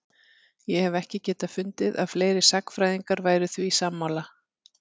Ég hef ekki getað fundið að fleiri sagnfræðingar væru því sammála?